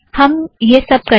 हम यह सब करेंगें